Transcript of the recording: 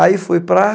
Aí fui para